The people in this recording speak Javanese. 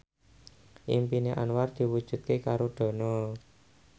impine Anwar diwujudke karo Dono